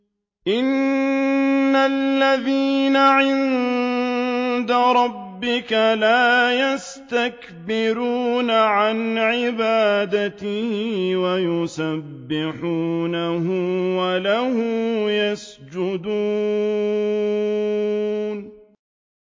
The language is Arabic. إِنَّ الَّذِينَ عِندَ رَبِّكَ لَا يَسْتَكْبِرُونَ عَنْ عِبَادَتِهِ وَيُسَبِّحُونَهُ وَلَهُ يَسْجُدُونَ ۩